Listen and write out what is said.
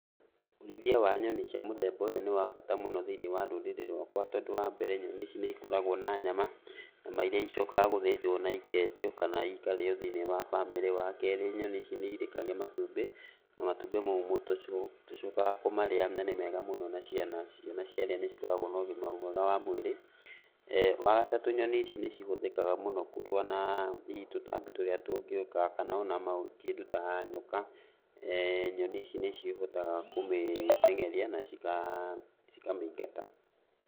Ũrĩithia wa nyoni cia mũthemba ũyũ nĩ wa bata mũno thĩiniĩ wa rũrĩrĩ rwakwa tondũ wambere nyoni ici nĩikoragwo na nyama, nyama iria icokaga gũthĩnjwo na ikendio kana ikarĩo thĩiniĩ wa bamĩrĩ. Wakerĩ nyoni ici nĩirekagia matumbĩ, na matumbĩ mau nĩmo tũcokaga kũmarĩa na nĩ mega mũno na ciana. Ciana ciarĩa ciarĩa nĩcikoragwo na ũgima mwega wa mwĩrĩ. Wagatatũ nyoni ici nĩcihũthĩkaga mũno kũrũa na hihi tũtambi tũrĩa tũngĩũka kana ona kĩndũ ta nyoka, nyoni ici nĩcihotaga kũmũtengeria na cikamĩingata.